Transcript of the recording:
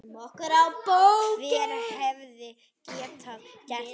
Hver hefði getað gert þetta?